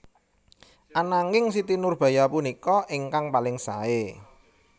Ananging Siti Nurbaya punika ingkang paling saé